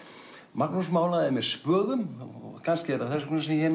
Magnús málaði með spöðum og kannski er það þess vegna sem ég